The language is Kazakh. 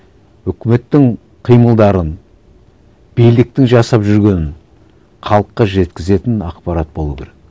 өкіметтің қимылдарын биліктің жасап жүргенін халыққа жеткізетін ақпарат болу керек